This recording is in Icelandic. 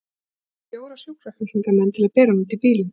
Það þurfti fjóra sjúkraflutningamenn til að bera hana út í bílinn.